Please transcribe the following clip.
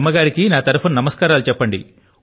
మీ అమ్మగారి కి నా తరఫు న ప్రణామాలు పలకండి